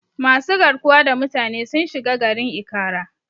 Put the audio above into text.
Masu garkuwa da mutane sun shiga garin Ikara.